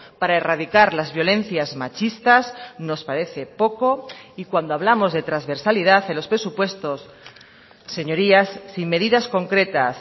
para erradicar las violencias machistas nos parece poco y cuando hablamos de transversalidad en los presupuestos señorías sin medidas concretas